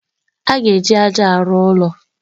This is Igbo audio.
A ga-eji aja arụ ụlọ.